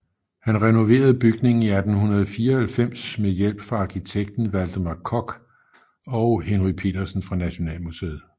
Han renoverede bygningen i 1894 med hjælp fra arkitekten Valdemar Koch og Henry Petersen fra Nationalmuseet